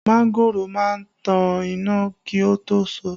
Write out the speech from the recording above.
Mangoro má ń tan iná kí ó tó so